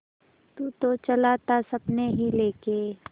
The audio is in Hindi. तू तो चला था सपने ही लेके